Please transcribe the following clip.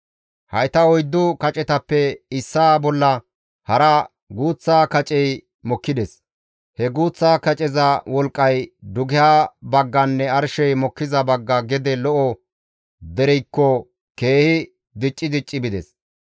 Hayta oyddu kacetappe issaa bolla hara guuththa kacey mokkides; he guuththa kaceza wolqqay dugeha bagganne arshey mokkiza bagga gede lo7o dereykko keehi dicci dicci bides.